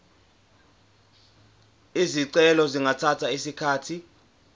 izicelo zingathatha isikhathi